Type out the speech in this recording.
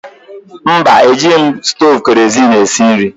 Mba, ejighị m stovu kerozin esi nri.